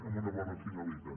amb una bona finalitat